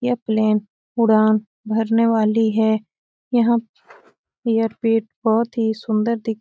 यह प्लेन उड़ान भरने वाली है यहाँ ऐयरपेट बहुत ही सुन्दर दिख --